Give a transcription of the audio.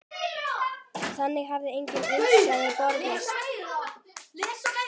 Þangað hefur engin umsókn borist.